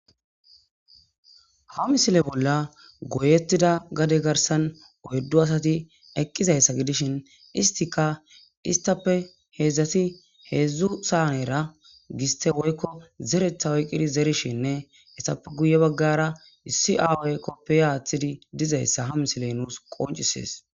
ha misile bolla goyettida gade garsan oyddu asati eqqizayssa gidishin istika istappe heedzdzati heedzdzu saanera giste woykko zeretha oyqqidi zerishinne essape guye baggara issi aawoykkoppe aaththidi dizayssa ha misiley nuus qoncisees